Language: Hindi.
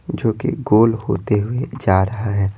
जो कि गोल होते हुए जा रहा है।